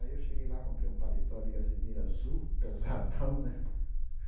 Aí eu cheguei lá, comprei um paletó de gasemira azul, pesadão, né?